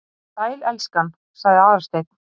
Sæl, elskan- sagði Aðalsteinn.